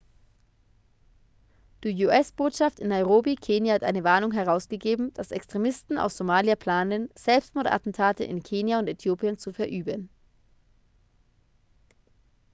die us-botschaft in nairobi kenia hat eine warnung herausgegeben dass extremisten aus somalia planen selbstmordattentate in kenia und äthiopien zu verüben